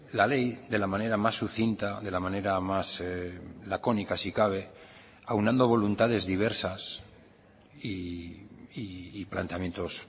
la ley de la manera más sucinta de la manera más lacónica si cabe aunando voluntades diversas y planteamientos